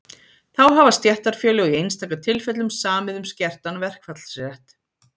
Þá hafa stéttarfélög í einstaka tilfellum samið um skertan verkfallsrétt.